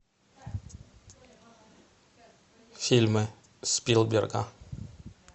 фильмы спилберга